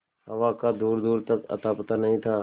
हवा का दूरदूर तक अतापता नहीं था